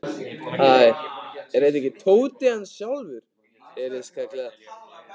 Hæ, er þetta ekki Tóti sjálfur? heyrðist kallað.